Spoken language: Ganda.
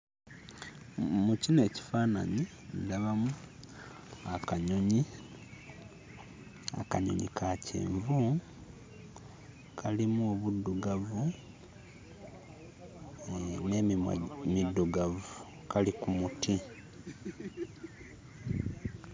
Mm mu kino ekifaananyi ndabamu akanyonyi akanyonyi ka kyenvu kalimu obuddugavu mm n'emimwa middugavu kali ku muti.